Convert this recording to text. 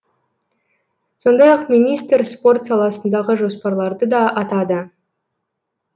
сондай ақ министр спорт саласындағы жоспарларды да атады